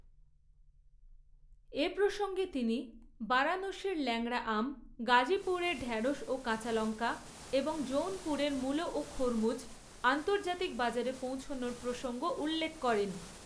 এ প্রসঙ্গে তিনি বারাণসীর ল্যাংড়া আম, গাজীপুরের ঢ্যাড়শ ও কাঁচালঙ্কা এবং জৌনপুরের মুলো ও খরবুজ আন্তর্জাতিক বাজারে পৌঁছনোর প্রসঙ্গ উল্লেখ করেন।